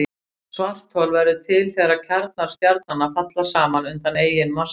Svarthol verða til þegar kjarnar stjarnanna falla saman undan eigin massa.